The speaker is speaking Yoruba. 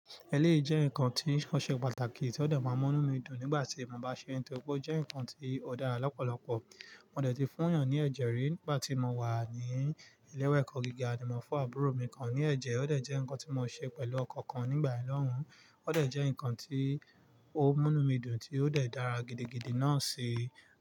Ẹléyi jẹ́ nǹkan tí ó ṣe pàtàkì tí ó de máa múnú mi dùn nígbà tí mo bá ṣe é, nítorí pé ó jẹ́ nǹkan tí ó dára lọ́pọ̀lọpọ̀. Mo dọe ti fún yàn ní ẹ̀jẹ̀ rí nígbà tí mo wà ní ilé-ewe ẹ̀kọ́ gíga, ni mo fún àbúrò mi kan ní ẹ̀jẹ̀, ó dẹ̀ jẹ́ nǹkan tí mo ṣe pẹ̀lú ọkọ̀ kan nígbà yen lohun, ó dẹ̀ jẹ́ nǹkan tí ó múnú mi dùn tí ó dẹ̀ dára gidigidi náà ṣi.